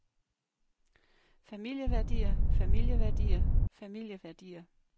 familieværdier familieværdier familieværdier